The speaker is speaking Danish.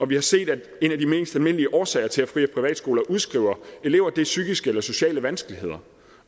vi har set at en af de mest almindelige årsager til at fri og privatskoler udskriver elever er psykiske eller sociale vanskeligheder